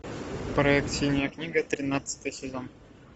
проект синяя книга тринадцатый сезон